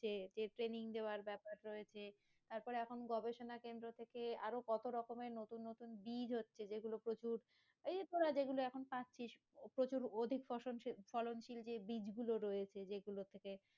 যে যে training দেওয়ার বেপার রয়েছে তারপর এখন গবেষণা কেন্দ্র থেকে আরো কত রকমের নতুন নতুন বীজ হচ্ছে যেগুলো প্রচুর এইযে তোরা যেগুলো এখন পাচ্ছিস প্রচুর অধিক ফসল ফসল শীল বীজ গুলো যে রয়েছে